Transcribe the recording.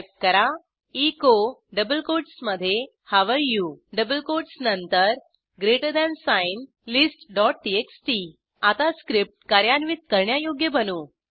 type करा echo double कोटसमधे how are you double कोटसनंतर ग्रेटर थान साइन listटीएक्सटी आता स्क्रिप्ट कार्यान्वित करण्यायोग्य बनवू